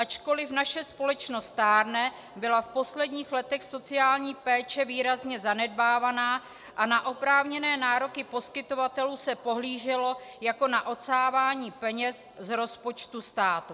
Ačkoliv naše společnost stárne, byla v posledních letech sociální péče výrazně zanedbávána a na oprávněné nároky poskytovatelů se pohlíželo jako na odsávání peněz z rozpočtu státu.